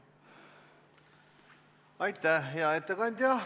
Aitäh, hea ettekandja!